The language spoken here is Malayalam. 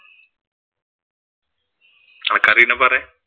അനക്ക് അറിയുന്നെ പറെ.